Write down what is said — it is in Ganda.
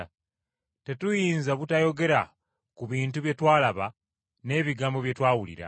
Tetuyinza butayogera ku bintu bye twalaba, n’ebigambo bye twawulira.”